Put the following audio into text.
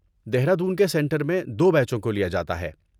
دہرادون کے سنٹر میں دو بیچوں کو لیا جاتا ہے